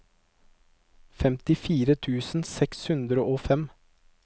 femtifire tusen seks hundre og fem